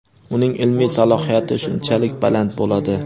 uning ilmiy salohiyati shunchalik baland bo‘ladi.